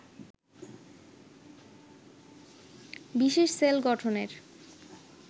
বিশেষ সেল গঠনের